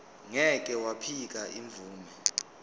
ngeke wakhipha imvume